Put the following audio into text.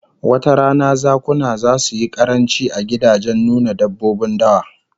Wata rana zakuna zasu yi karanci a gidajen nuna dabbobin dawa